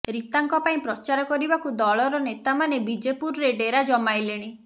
ରୀତାଙ୍କ ପାଇଁ ପ୍ରଚାର କରିବାକୁ ଦଳର ନେତାମାନେ ବିଜେପୁରରେ ଡେରା ଜମାଇଲେଣି